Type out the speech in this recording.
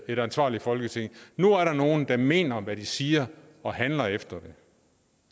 et ansvarligt folketing nu er der nogle der mener hvad de siger og handler efter